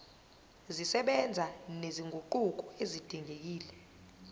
zisebenza nezinguquko ezidingekile